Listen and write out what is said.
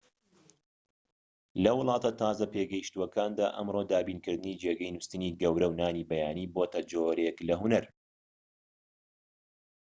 لە وڵاتە تازە پێگەشتووەکاندا ئەمڕۆ دابینکردنی جێگەی نوستنی گەورە و نانی بەیانی بۆتە جۆرێك لە هونەر